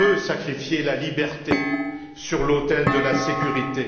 On ne peut sacrifier la liberté sur l'autel de la sécurité.